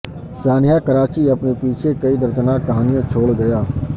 سانحہ کراچی اپنے پیچھے کئی دردناک کہانیاں چھوڑ گیا